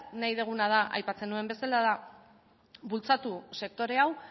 nahi duguna da aipatzen nuen bezala bultzatu sektore hau